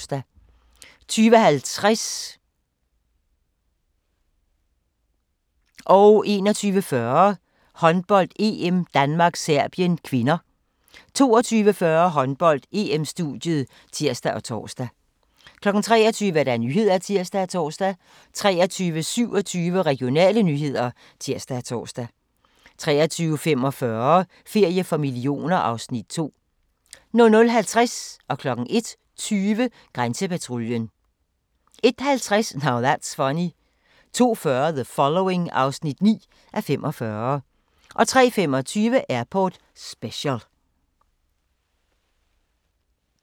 21:40: Håndbold: EM - Danmark-Serbien (k) 22:40: Håndbold: EM-studiet (tir og tor) 23:00: Nyhederne (tir og tor) 23:27: Regionale nyheder (tir og tor) 23:45: Ferie for millioner (Afs. 2) 00:50: Grænsepatruljen 01:20: Grænsepatruljen 01:50: Now That's Funny 02:40: The Following (9:45) 03:25: Airport Special